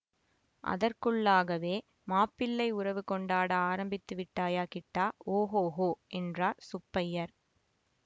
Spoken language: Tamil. அதற்குள்ளாகவே மாப்பிள்ளை உறவு கொண்டாட ஆரம்பித்து விட்டாயா கிட்டா ஓஹோஹோ என்றார் சுப்பய்யர்